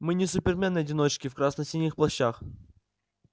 мы не супермены-одиночки в красно-синих плащах